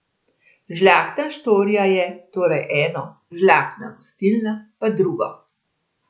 Žlahtna štorija je, torej, eno, žlahtna gostilna pa drugo.